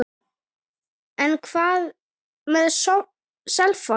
En hvað með Selfoss?